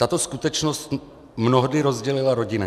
Tato skutečnost mnohdy rozdělila rodiny.